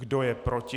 Kdo je proti?